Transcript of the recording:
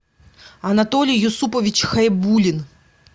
анатолий юсупович хайбулин